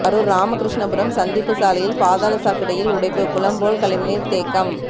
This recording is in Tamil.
கரூர் ராமகிருஷ்ணபுரம் சந்திப்பு சாலையில் பாதாள சாக்கடையில் உடைப்பு குளம்போல் கழிவு நீர் தேக்கம்